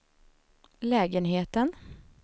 lägenheten